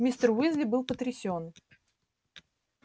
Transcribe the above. мистер уизли был потрясён